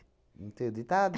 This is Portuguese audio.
Não tem o ditado?